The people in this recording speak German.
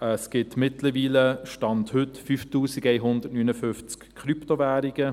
Es gibt mittlerweile, Stand heute, 5159 Krypto-Währungen.